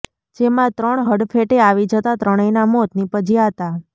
જેમાં ત્રણ હડફેટે આવી જતા ત્રણેયના મોત નીપજ્યા હતા